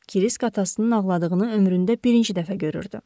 Krisk atasının ağladığını ömründə birinci dəfə görürdü.